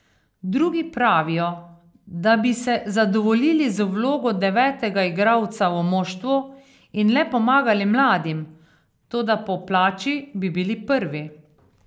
Drugi pravijo, da bi se zadovoljili z vlogo devetega igralca v moštvu in le pomagali mladim, toda po plači bi bili prvi.